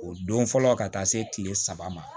O don fɔlɔ ka taa se kile saba ma